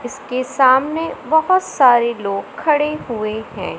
इसके सामने बहुत सारे लोग खड़े हुए हैं।